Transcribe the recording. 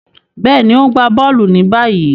Béèni, o n gbà bóòlù ni báyìí.